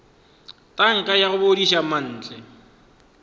tanka ya go bodiša mantle